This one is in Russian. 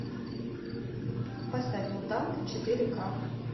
поставь мутанты четыре ка